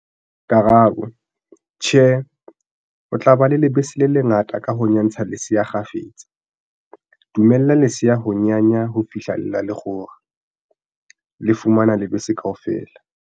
Karabo- Tjhe, o tla ba le lebese le le ngata ka ho nyantsa lesea kgafetsa. Dumella lesea ho nyanya ho fihlela le kgora, le fumana lebese kaofela.